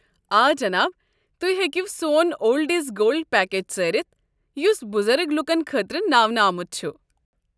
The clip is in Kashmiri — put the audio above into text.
آ، جناب۔ تُہۍ ہیٚکو سون اولڈ اِز گولڈ پیکیج ژٲرِتھ یُس بُزرگ لوٗکن خٲطرٕ ناونہٕ آمت چھُ۔